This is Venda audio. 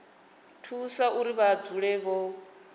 thusa uri vha dzule vho